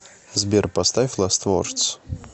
сбер поставь ласт вордс